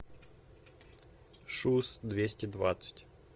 шуз двести двадцать